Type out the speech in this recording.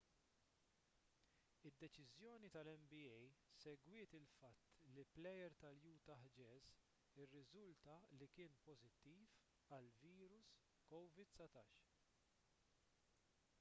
id-deċiżjoni tal-nba segwiet il-fatt li plejer tal-utah jazz irriżulta li kien pożittiv għall-virus covid-19